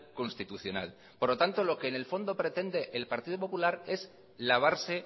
constitucional por lo tanto lo que en el fondo pretende el partido popular es lavarse